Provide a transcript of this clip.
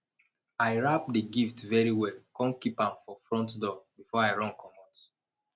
i wrap the gift very well come keep am for front door before i run comot